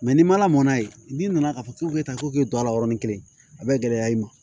ni mana mɔnna yen n'i nana k'a fɔ k'u bɛ taa k'i don a la yɔrɔnin kelen a bɛ gɛlɛya i ma